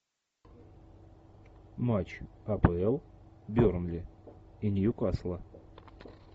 матч апл бернли и ньюкасла